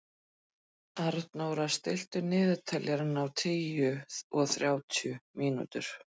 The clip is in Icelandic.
Arnóra, stilltu niðurteljara á níutíu og þrjár mínútur.